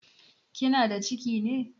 Kinada ciki ne?